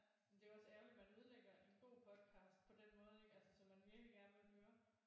Men det er jo også ærgerligt man ødelægger en god podcast på den måde ikke altså som man virkelig gerne vil høre